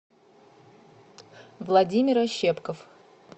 владимир ощепков